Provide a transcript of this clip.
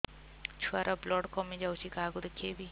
ଛୁଆ ର ବ୍ଲଡ଼ କମି ଯାଉଛି କାହାକୁ ଦେଖେଇବି